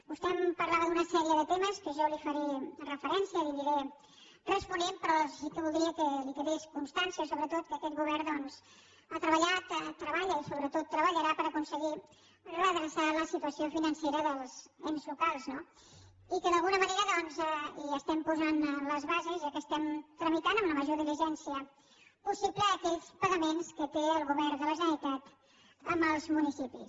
vostè em parlava d’una sèrie de temes a què jo li faré referència que li aniré responent però sí que voldria que li quedés constància sobretot que aquest govern doncs ha treballat treballa i sobretot treballarà per aconseguir redreçar la situació financera dels ens locals no i que d’alguna manera hi estem posant les bases ja que estem tramitant amb la major diligència possible aquells pagaments que té el govern de la generalitat amb els municipis